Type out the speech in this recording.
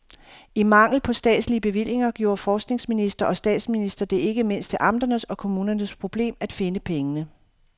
I mangel på statslige bevillinger gjorde forskningsminister og statsminister det ikke mindst til amternes og kommunernes problem at finde pengene.